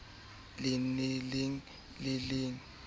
le leng le le leng